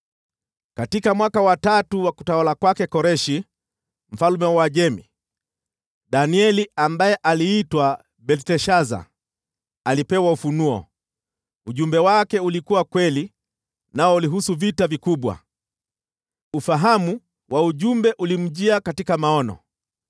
Katika mwaka wa tatu wa utawala wa Koreshi mfalme wa Uajemi, Danieli (ambaye aliitwa Belteshaza) alipewa ufunuo. Ujumbe wake ulikuwa kweli, nao ulihusu vita vikubwa. Ufahamu wa ujumbe ulimjia katika maono.